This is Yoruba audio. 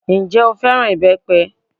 Ǹjẹ́ o fẹ́ràn ìbẹ́pẹ?